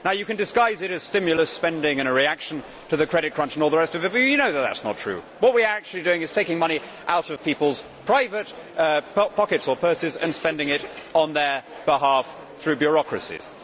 You can disguise it as stimulus spending and a reaction to the credit crunch and all the rest of it, but you know that is not true. What we are actually doing is taking money out of people's private pockets or purses and spending it on their behalf through bureaucracies.